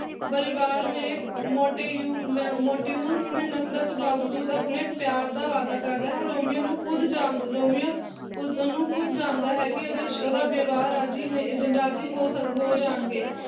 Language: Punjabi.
ਪਰਿਵਾਰ ਨੇ ਮੋਟਿਜੁ ਮ ਮੋਟੋਯੂਜ ਨੇ ਨਫ਼ਰਤ ਬਾਵਜੂਦ ਆਪਣੇ ਪਿਆਰ ਦਾ ਵਾਅਦਾ ਕਰਦਾ ਹੈ। ਰੋਮੀਓ ਨੂੰ ਖੁਦ ਜਾਣ ਰੋਮੀਓ ਉਸਨੂੰ ਖੁਦ ਜਾਣਦਾ ਹੈ, ਕੀ ਓਹਦੇ ਵਿੱਚ ਉਹਦਾ ਵਿਵਾਹ ਰਾਜੀ ਨਹੀਂ ਰਾਜੀ ਹੋ ਜਾਣਗੇ